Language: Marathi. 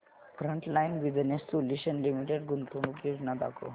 फ्रंटलाइन बिजनेस सोल्यूशन्स लिमिटेड गुंतवणूक योजना दाखव